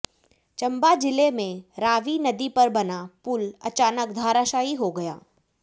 चंबा जिले में रावी नदी पर बना पुल अचानक धराशायी हो गया